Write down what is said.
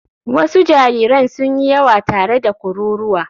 Wasu jariran sun yi yawa tare da kururuwa.